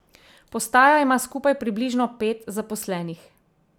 Postaja ima skupaj približno pet zaposlenih.